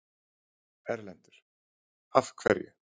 Erlendur: Af hverju?